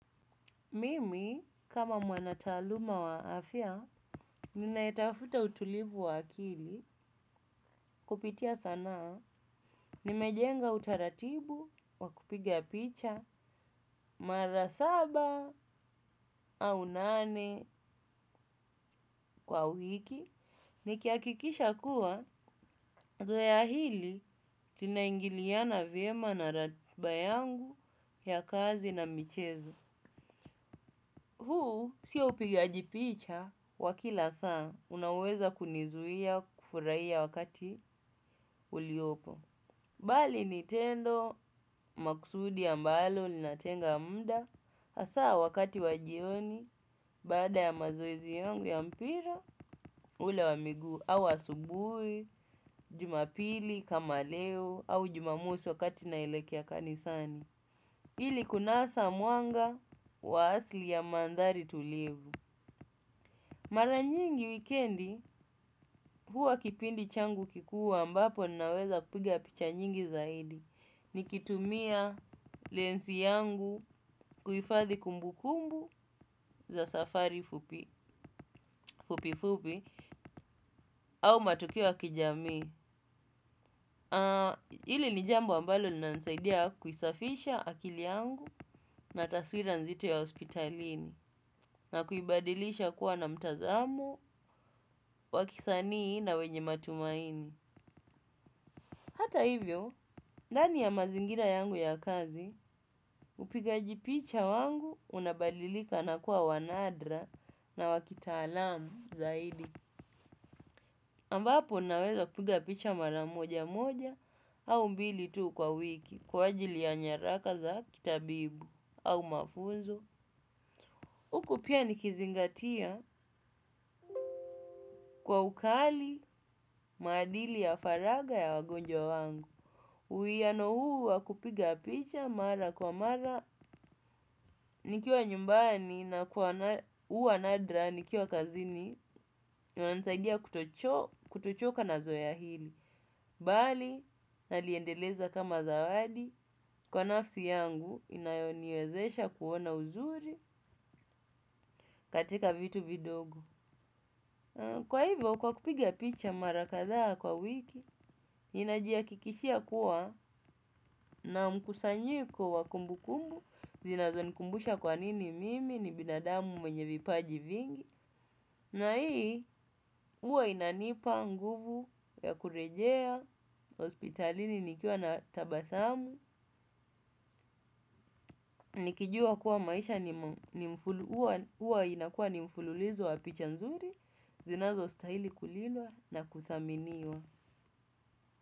Mimi, kama mwanataaluma wa afyaa, ninayetafuta utulivu wa akili kupitia sanaa, nimejenga utaratibu, wakupiga picha, mara saba au nane kwa wiki, nikiakikisha kuwa, zoeya hili, linaingiliana vyema na ratiba yangu ya kazi na michezo. Huu sio upigaji picha wa kila saa unaoweza kunizuia kufuraiya wakati uliopo. Bali ni tendo makusudi ambalo ninatenga mda asaa wakati wajioni baada ya mazoezi yangu ya mpira ule wa miguu au asubui, jumapili kama leo au jumamosi wakati naelekea kanisani. Ili kunasa mwanga wa asili ya mandhari tulivu. Mara nyingi wikendi, huwa kipindi changu kikuu ambapo nnaweza kupiga picha nyingi zaidi. Nikitumia lensi yangu kuhifathi kumbukumbu za safari fupi fupi fupi au matukio ya kijamii. Hili ni jambo ambalo linansaidia kuisafisha akili yangu na taswira nzito ya hospitalini. Na kuibadilisha kuwa na mtazamo, wakisanii na wenye matumaini. Hata hivyo, dani ya mazingira yangu ya kazi, upiga ji picha wangu unabalilika na kuwa wanadra na wakitaalamu zaidi. Ambapo unaweza kupiga picha maramoja moja au mbili tuu kwa wiki kwa ajili ya nyaraka za kitabibu au mafunzo. Uku pia nikizingatia kwa ukali maadili ya faraga ya wagonjwa wangu. Uwiano huu wakupiga picha mara kwa mara nikiwa nyumbani na kwa huwa nadra nikiwa kazini inanisaidia kutochoka na zoeya hili. Bali naliendeleza kama zawadi kwa nafsi yangu inayoniwezesha kuona uzuri katika vitu vidogo. Kwa hivyo, kwa kupiga picha mara kadhaa kwa wiki, inajihakikishia kuwa na mkusanyiko wa kumbu kumbu, zinazo nikumbusha kwa nini mimi ni binadamu mwenye vipaji vingi, na hii huwa inanipa nguvu ya kurejea, hospitalini nikiwa na tabathamu, nikijua kuwa maisha huwa inakuwa ni mfululilizo wa picha nzuri, zinazo stahili kulilwa na kudhaminiwa.